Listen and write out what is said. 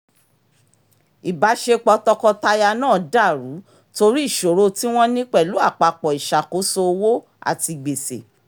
ìbáṣepọ̀ tọkọtaya náà dá rú torí ìṣòro tí wọ́n ní pẹ̀lú apapọ́ ìṣàkóso owó àti gbèsè